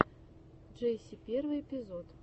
джесси первый эпизод